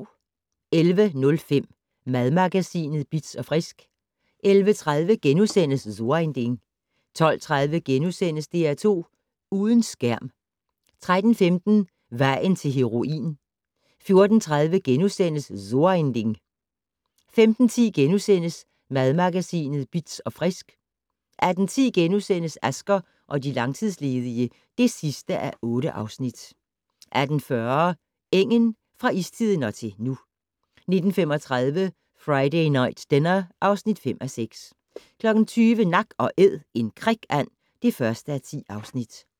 11:05: Madmagasinet Bitz & Frisk 11:30: So ein Ding * 12:30: DR2 Uden skærm * 13:15: Vejen til heroin 14:30: So ein Ding * 15:10: Madmagasinet Bitz & Frisk * 18:10: Asger og de langtidsledige (8:8)* 18:40: Engen - fra istiden og til nu 19:35: Friday Night Dinner (5:6) 20:00: Nak & Æd - en krikand (1:10)